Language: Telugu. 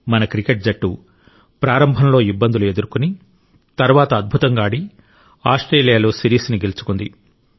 మన క్రికెట్ జట్టు ప్రారంభంలో ఇబ్బందులు ఎదుర్కొని తర్వాత అద్భుతంగా ఆడి ఆస్ట్రేలియాలో సిరీస్ను గెలుచుకుంది